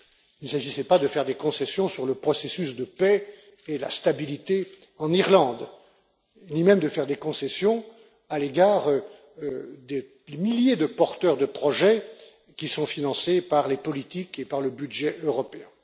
Il ne s'agissait pas de faire des concessions sur le processus de paix et la stabilité en Irlande, ni même de faire des concessions à l'égard des milliers de porteurs de projets qui sont financés par les politiques et par le budget européen.